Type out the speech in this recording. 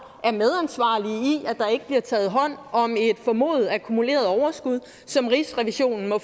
er ikke bliver taget hånd om et formodet akkumuleret overskud som rigsrevisionen må